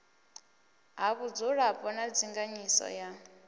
ha vhudzulapo na ndinganyiso ya